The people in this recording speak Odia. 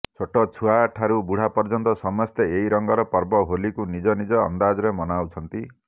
ଛୋଟ ଛୁଆ ଠାରୁ ବୁଢା ପର୍ଯ୍ୟନ୍ତ ସମସ୍ତେ ଏହି ରଙ୍ଗର ପର୍ବ ହୋଲିକୁ ନିଜ ନିଜ ଅନ୍ଦାଜରେ ମନାଉଛନ୍ତି